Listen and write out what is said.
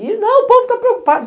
E, não, o povo tá preocupado.